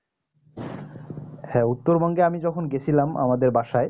হ্যাঁ উত্তর বঙ্গেআমি যখন গেছিলাম আমাদের বাসায়